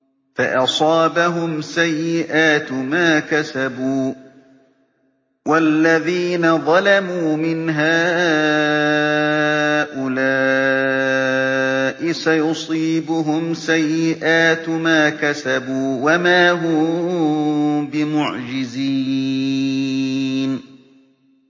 فَأَصَابَهُمْ سَيِّئَاتُ مَا كَسَبُوا ۚ وَالَّذِينَ ظَلَمُوا مِنْ هَٰؤُلَاءِ سَيُصِيبُهُمْ سَيِّئَاتُ مَا كَسَبُوا وَمَا هُم بِمُعْجِزِينَ